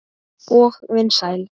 Og vinsæl.